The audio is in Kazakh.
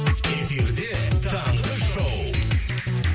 эфирде таңғы шоу